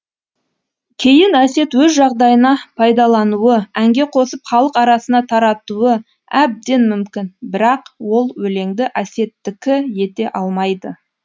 кейін әсет өз жағдайына пайдалануы әнге қосып халық арасына таратуы әбден мүмкін бірақ ол өлеңді әсеттікі ете алмайды